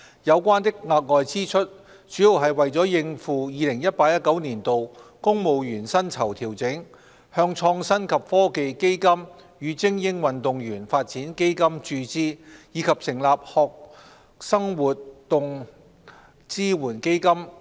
有關的額外支出，主要是為了應付 2018-2019 年度公務員薪酬調整、向創新及科技基金與精英運動員發展基金注資，以及成立學生活動支援基金。